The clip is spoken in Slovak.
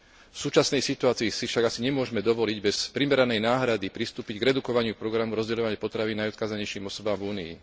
V súčasnej situácii si však asi nemôžme dovoliť bez primeranej náhrady, pristúpiť k redukovaniu programu rozdeľovania potravín najodkázanejším osobám v Únii.